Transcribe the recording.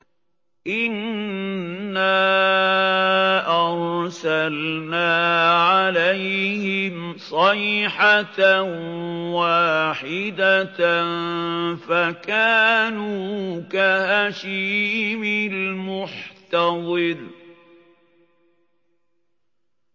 إِنَّا أَرْسَلْنَا عَلَيْهِمْ صَيْحَةً وَاحِدَةً فَكَانُوا كَهَشِيمِ الْمُحْتَظِرِ